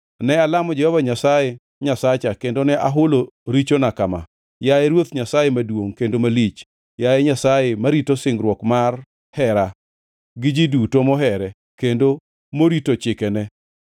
Ne alamo Jehova Nyasaye Nyasacha kendo ne ahulo richona kama: “Yaye Ruoth Nyasaye maduongʼ kendo malich, Nyasaye marito singruokne mar hera gi ji duto mohere kendo morito chikene,